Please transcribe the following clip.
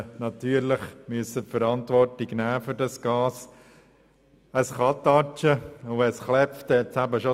Natürlich musste man die Verantwortung für dieses Gas übernehmen, weil es zum Knall kommen kann.